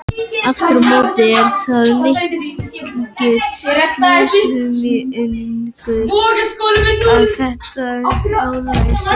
Aftur á móti er það mikill misskilningur að þetta álag sé orsök geðklofa.